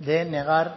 de negar